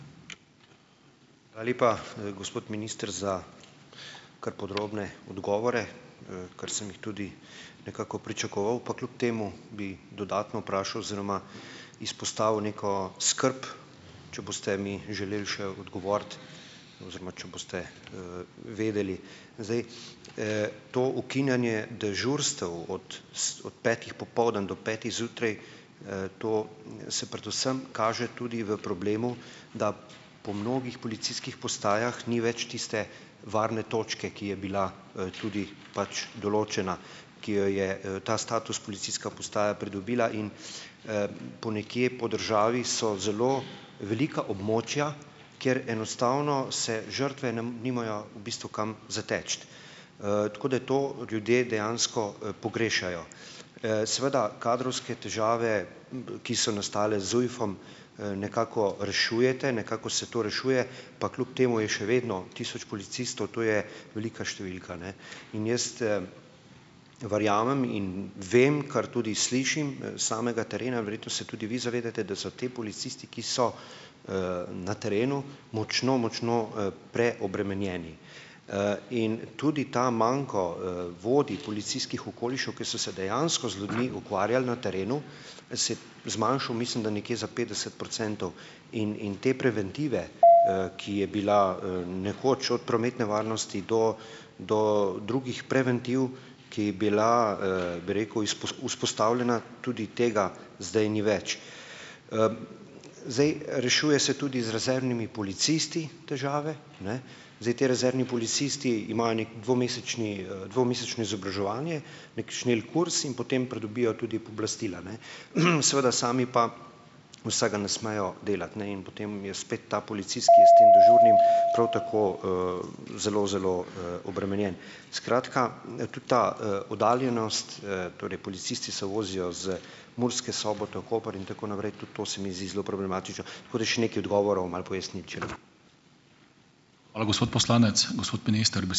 Hvala lepa, gospod minister, za kar podrobne odgovore, kar sem jih tudi nekako pričakoval. Pa kljub temu bi dodatno vprašal oziroma izpostavil neko skrb, če boste mi želeli še odgovoriti oziroma če boste, vedeli. Zdaj, to ukinjanje dežurstev od od petih popoldan do petih zjutraj, to se predvsem kaže tudi v problemu, da po mnogih policijskih postajah ni več tiste varne točke, ki je bila, tudi pač določena, ki jo je, ta status policijska postaja pridobila in, ponekje po državi so zelo velika območja, kjer enostavno se žrtve ne nimajo v bistvu kam zateči. Tako da to ljudje dejansko, pogrešajo. Seveda kadrovske težave, ki so nastale z ZUJF-om, nekako rešujete, nekako se to rešuje, pa kljub temu je še vedno tisoč policistov, to je velika številka, ne. In jaz, verjamem in vem, kar tudi slišim, s samega terena, verjetno se tudi vi zavedate, da so ti policisti, ki so, na terenu močno močno, preobremenjeni. In tudi ta manko, vodij policijskih okolišev, ki so se dejansko z ljudmi ukvarjali na terenu, se je zmanjšal, mislim, da nekje za petdeset procentov. In in te preventive, ki je bila, nekoč od prometne varnosti do do drugih preventiv, ki je bila, bi rekel, vzpostavljena, tudi tega zdaj ni več. Zdaj rešuje se tudi z rezervnimi policisti težave, ne. Zdaj ti rezervni policisti imajo neki dvomesečni, dvomesečno izobraževanje, neki šnelkurs, in potem pridobijo tudi pooblastila, ne. Seveda sami pa vsega ne smejo delati, ne. In potem je spet ta policist, ki je s tem dežurnim, prav tako, zelo zelo, obremenjen. Skratka, ne, ta ta, oddaljenost, torej policisti se vozijo z Murske Sobote v Koper in tako naprej, tudi to se mi zdi zelo problematično. Tako da še nekaj odgovorov, malo pojasnil, če lahko ...